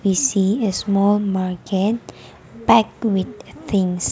we see a small market pack with things.